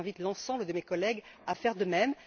J'invite l'ensemble de mes collègues à faire de même.